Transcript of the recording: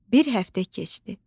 Bir həftə keçdi.